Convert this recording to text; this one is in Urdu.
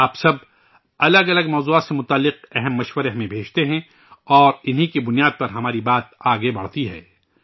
آپ سب، الگ الگ موضوعات سے جڑی اہم تجاویز مجھے بھیجتے ہیں، اور انہی کی بنیاد پر ہماری بات آگے بڑھتی ہے